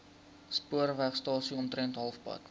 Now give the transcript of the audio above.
spoorwegstasie omtrent halfpad